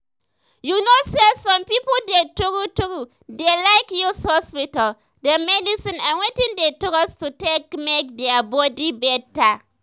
you know say some pipo dey true true dey like use hospital dem medicine and wetin dey trust to take make their body better.